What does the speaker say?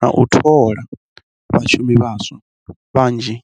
na u thola vha shumi vhanzhi.